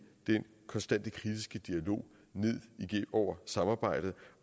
den konstante kritiske dialog ned over samarbejdet